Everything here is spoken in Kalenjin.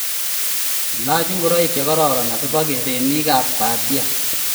Ilaach ngoroik che kororon asikebe kap gogo.